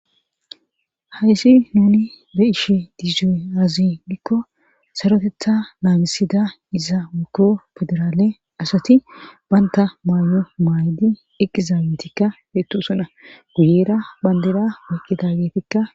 Hayssi nuni be ishe diizsoy azi dikko sarotetha naabisida iza wukko federaale asati banta maayo maaydi eqizaabetikka heettusona guyera bandeda woqqida geetikka.